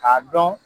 K'a dɔn